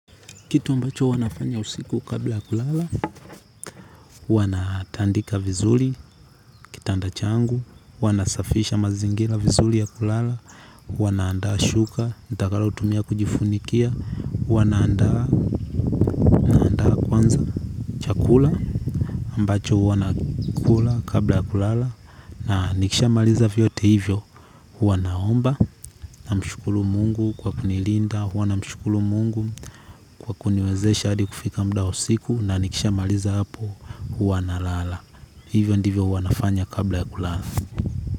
Kitu ambacho huwa nafanya usiku kabla ya kulala, uwa na tandika vizuli, kitanda changu, huwanasafisha mazingila vizuli ya kulala, huwa naandaa shuka, nitakalo tumia kujifunikia, huwa naandaa kwanza chakula, ambacho uwa nakula kabla ya kulala, na nikisha maliza vyote hivyo, huwa naomba, na mshukulu mungu kwa kunilinda, huwa na mshukulu mungu kwa kuniwezesha hadi kufika muda wa usiku, na nikisha maliza hapo, huwa na lala. Hivyo ndivyo huwa nafanya kabla ya kulala.